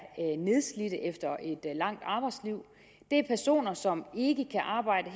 nedslidte efter et langt arbejdsliv det er personer som ikke kan arbejde